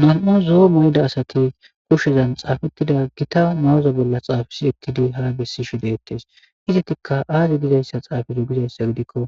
mam7u zoo mayda asati kushshezan xaafettida gita ma7uza bolla xaafisi ekkidi hara bessi shi deettes izetikka aazi gizayssa xaafido gizayssa gidikko